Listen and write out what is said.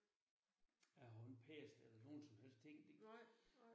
Jeg har jo ikke pacet eller nogen som helst ting